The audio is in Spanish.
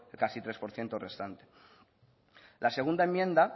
casi el tres por ciento restante la segunda enmienda